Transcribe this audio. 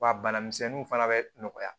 Wa bana misɛnninw fana bɛ nɔgɔya